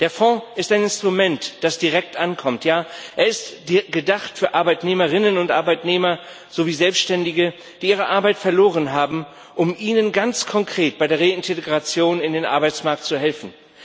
Der Fonds ist ein Instrument, das direkt ankommt. Er ist gedacht für Arbeitnehmerinnen und Arbeitnehmer sowie Selbständige, die ihre Arbeit verloren haben, um ihnen ganz konkret bei der Reintegration in den Arbeitsmarkt zu helfen.